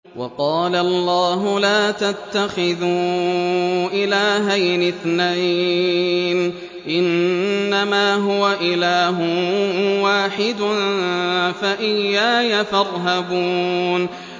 ۞ وَقَالَ اللَّهُ لَا تَتَّخِذُوا إِلَٰهَيْنِ اثْنَيْنِ ۖ إِنَّمَا هُوَ إِلَٰهٌ وَاحِدٌ ۖ فَإِيَّايَ فَارْهَبُونِ